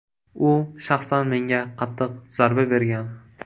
U shaxsan menga qattiq zarba bergan.